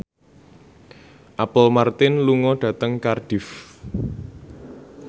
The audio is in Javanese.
Apple Martin lunga dhateng Cardiff